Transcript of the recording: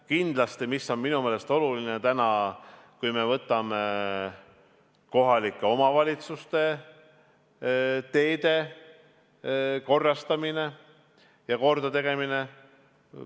Kindlasti on minu meelest oluline kohalike omavalitsuste teede korrastamine ja kordategemine.